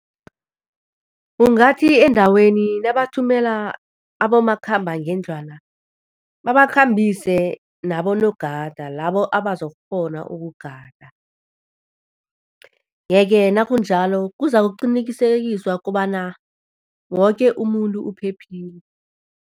Ungathi endaweni nabathumela abomakhambangendlwana babakhambise nabonogada labo abazokukghona ukugada yeke nakunjalo kuzakuqinikisekiswa kobana woke umuntu uphephile.